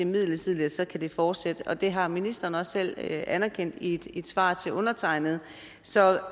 midlertidigt så kan det fortsætte og det har ministeren også selv anerkendt i et svar til undertegnede så